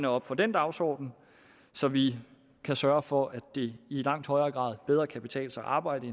op for den dagsorden så vi kan sørge for at det i langt højere grad bedre kan betale sig at arbejde